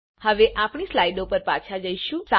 હવે આપણી સ્લાઈડો પર પાછા જઈશું